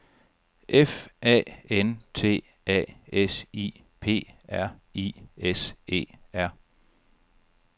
F A N T A S I P R I S E R